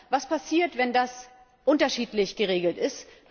Was passiert, wenn das unterschiedlich geregelt ist?